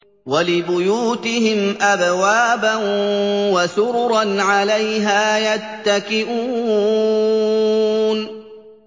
وَلِبُيُوتِهِمْ أَبْوَابًا وَسُرُرًا عَلَيْهَا يَتَّكِئُونَ